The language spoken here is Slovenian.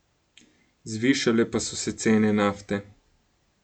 Zvišale pa so se cene nafte.